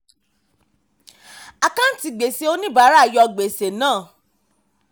àkáǹtí gbèsè oníbàárà yọ gbèsè náà.